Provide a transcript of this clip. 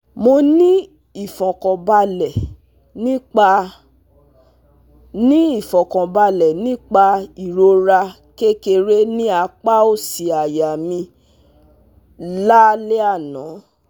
Mo ni ifọkanbalẹ nipa ni ifọkanbalẹ nipa irọra kekere ni apa osi aya mi la le ana